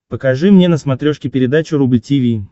покажи мне на смотрешке передачу рубль ти ви